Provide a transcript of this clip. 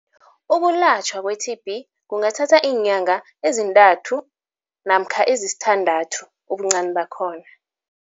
Ukulatjhwa kwe-T_B kungathatha iinyanga ezintathu namkha ezisithandathu ubuncani bakhona.